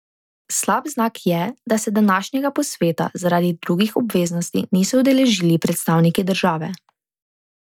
Slab znak je, da se današnjega posveta zaradi drugih obveznosti niso udeležili predstavniki države.